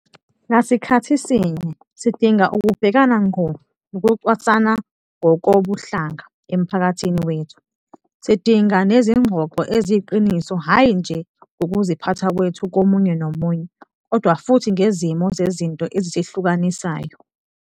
Ngasikhathi sinye, sidinga ukubhekana ngqo nokucwasana ngokobuhlanga emphakathini wethu. Sidinga nezingxoxo eziyiqiniso hhayi nje ngokuziphatha kwethu komunye nomunye, kodwa futhi ngezimo zezinto ezisihlukanisayo.